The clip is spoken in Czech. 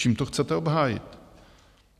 Čím to chcete obhájit?